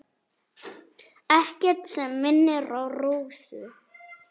Ekkert sem minnir á Rósu.